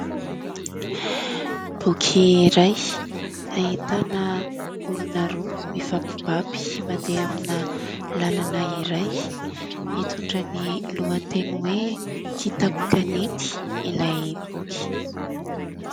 Boky iray ahitana olona roa mifampibaby mandeha amina lalana iray, mitondra ny lohateny hoe :" Kitapo kanety" ilay boky.